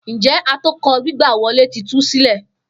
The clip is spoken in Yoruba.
Njẹ atokọ gbigba wọle ti tu silẹ?